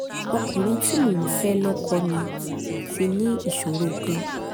ọkùnrin tí mò ń fẹ́ lọ́kọ mi ti ní ìṣòro kan